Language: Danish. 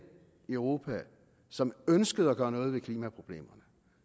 i europa som ønskede at gøre noget ved klimaproblemerne